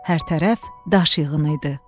Hər tərəf daş yığını idi.